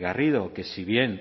garrido que si bien